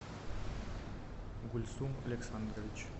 гульсум александрович